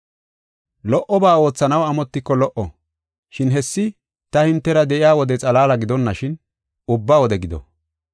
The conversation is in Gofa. Lo77oba oothanaw amotiko lo77o, shin hessi ta hintera de7iya wode xalaala gidonashin ubba wode gido.